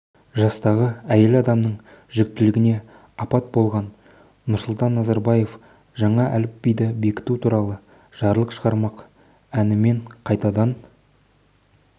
жастағы әйел адамның жүктілігіне апта болған нұрсұлтан назарбаев жаңа әліпбиді бекіту туралы жарлық шығармақ әнімен қайтадан